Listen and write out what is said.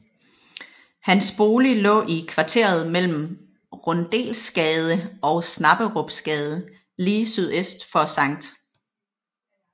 Hans bolig lå i kvarteret mellem Rundelsgade og Snapperupsgade lige sydøst for Skt